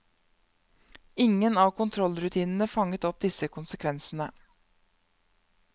Ingen av kontrollrutinene fanget opp disse konsekvensene.